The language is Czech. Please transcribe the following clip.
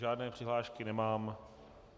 Žádné přihlášky nemám.